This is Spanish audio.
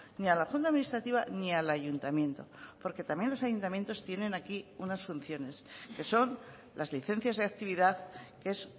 ni a la junta administrativa ni al ayuntamiento porque también los ayuntamientos tienen aquí unas funciones que son las licencias de actividad que es